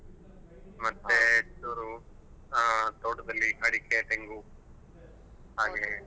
ಮತ್ತೆ ಚೂರು ಅಹ್ ತೋಟದಲ್ಲಿ ಅಡಿಕೆ ತೆಂಗು ಹಾಗೆ.